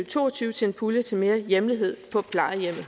to og tyve til en pulje til mere hjemlighed på plejehjemmet